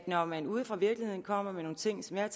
når man ude fra virkeligheden kommer med nogle ting som jeg